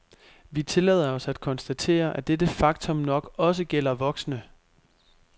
Vi tillader os at konstatere, at dette faktum nok også gælder voksne.